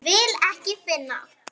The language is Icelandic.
Vil ekki finna.